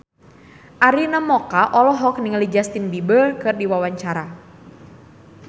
Arina Mocca olohok ningali Justin Beiber keur diwawancara